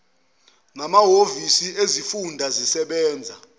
namahhovisi ezifunda sisebenza